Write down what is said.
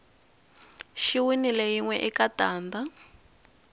xi winile yinwe eka tanda